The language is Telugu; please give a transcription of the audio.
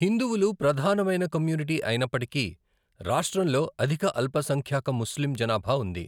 హిందువులు ప్రధానమైన కమ్యూనిటీ అయినప్పటికీ, రాష్ట్రంలో అధిక అల్పసంఖ్యాక ముస్లిం జనాభా ఉంది.